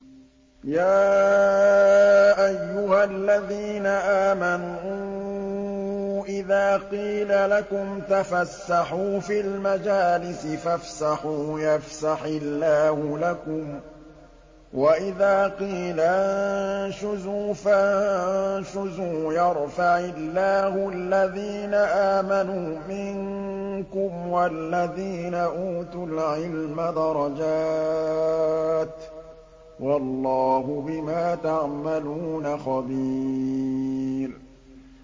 يَا أَيُّهَا الَّذِينَ آمَنُوا إِذَا قِيلَ لَكُمْ تَفَسَّحُوا فِي الْمَجَالِسِ فَافْسَحُوا يَفْسَحِ اللَّهُ لَكُمْ ۖ وَإِذَا قِيلَ انشُزُوا فَانشُزُوا يَرْفَعِ اللَّهُ الَّذِينَ آمَنُوا مِنكُمْ وَالَّذِينَ أُوتُوا الْعِلْمَ دَرَجَاتٍ ۚ وَاللَّهُ بِمَا تَعْمَلُونَ خَبِيرٌ